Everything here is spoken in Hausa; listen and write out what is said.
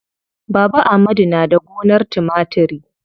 Baba amadu na da gonar timatiri.